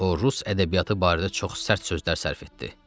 O rus ədəbiyyatı barədə çox sərt sözlər sərf etdi.